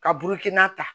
Ka burukina ta